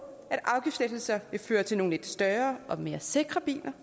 at afgiftslettelser vil føre til nogle lidt større og mere sikre biler